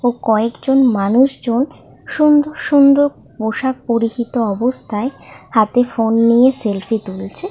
কয়েকজন মানুষজন সুন্দর সুন্দর পোশাক পরিহিত অবস্থায় হাতে ফোন নিয়ে সেলফি তুলছে ।